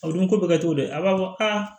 O dun ko bɛ kɛ cogo di a b'a fɔ aa